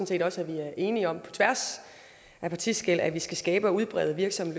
set også at vi er enige om på tværs af partiskel at vi skal skabe og udbrede virksomme